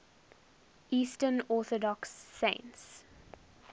eastern orthodox saints